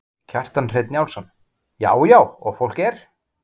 Kjartan Hreinn Njálsson: Já já og fólk er?